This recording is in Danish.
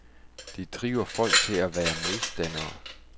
Det driver folk til at være modstandere.